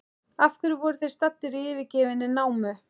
Af hverju voru þeir staddir í yfirgefinni námu?